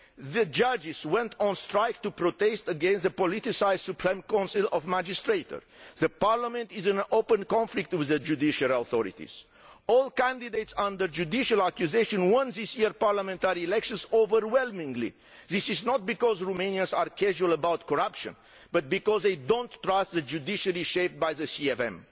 The judges went on strike to protest against the politicised Supreme Council of Magistrates and the parliament is in open conflict with the judicial authorities. All candidates under judicial accusation won this year's parliamentary elections overwhelmingly. This is not because Romanians are casual about corruption, but because they do not trust the judiciary shaped by the CVM.